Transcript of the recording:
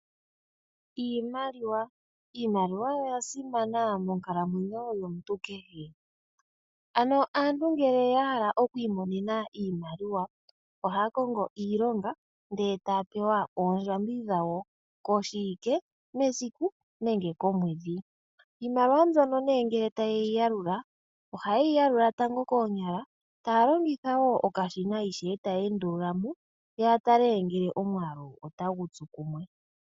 Iimaliwa Iimaliwa oyo oya simana monkalamwenyo yomuntu kehe. Ano aantu ngele ya hala oku imonene iimaliwa ohaya kongo iilonga ndee taya pewa oondjambi dhawo koshiwike, mesiku nenge komwedhi. Iimaliwa mbyono nee ngele ta yeyi yalula, oha yeyi yalula tango koonyala taa longitha woo okashina ishewe taya endulula mo ya tale ngele omwaalu ota gu tsu kumwe.